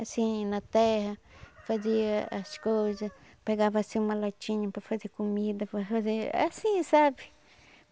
Assim, na terra, fazia as coisas, pegava assim uma latinha para fazer comida, para fazer...é assim, sabe?